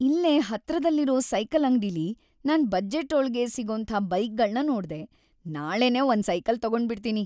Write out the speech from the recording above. ಇಲ್ಲೇ ಹತ್ರದಲ್ಲಿರೋ ಸೈಕಲ್ ಅಂಗ್ಡಿಲಿ ನನ್ ಬಜೆಟ್ಟೊಳ್ಗೇ ಸಿಗೋಂಥ ಬೈಕ್‌ಗಳ್ನ ನೋಡ್ದೆ, ನಾಳೆನೇ ಒಂದ್‌ ಸೈಕಲ್‌ ತಗೊಂಡ್ಬಿಡ್ತೀನಿ!